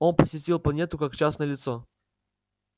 он посетил планету как частное лицо